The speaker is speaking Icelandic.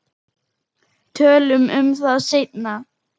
Tölum um það seinna.